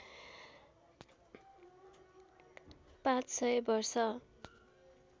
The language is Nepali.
५ सय वर्ष